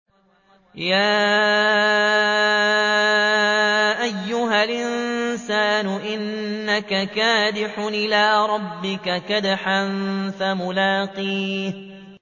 يَا أَيُّهَا الْإِنسَانُ إِنَّكَ كَادِحٌ إِلَىٰ رَبِّكَ كَدْحًا فَمُلَاقِيهِ